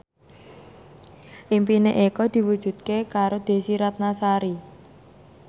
impine Eko diwujudke karo Desy Ratnasari